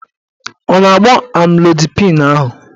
A na-agbọ amlodipịn ahụ?